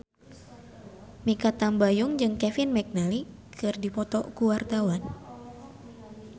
Mikha Tambayong jeung Kevin McNally keur dipoto ku wartawan